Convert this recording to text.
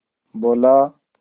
बोला